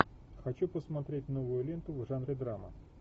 хочу посмотреть новую ленту в жанре драма